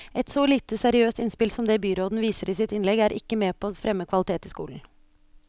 Et så lite seriøst innspill som det byråden viser i sitt innlegg, er ikke med på å fremme kvalitet i skolen.